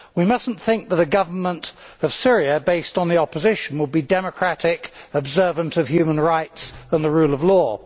We must not think that a government of Syria based on the opposition will be democratic, observant of human rights and the rule of law.